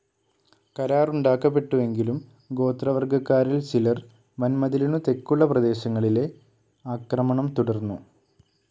കരാറുണ്ടാക്കപ്പെട്ടുവെങ്കിലും ഗോത്രവർഗകാറിൽ ചിലർ വന്മതിലിനു തെക്കുള്ള പ്രദേശങ്ങളിലെ ആക്രമണോം തുടർന്നു.